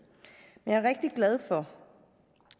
jeg er rigtig glad for